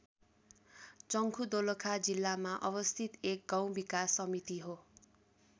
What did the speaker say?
चंखु दोलखा जिल्लामा अवस्थित एक गाउँ विकास समिति हो।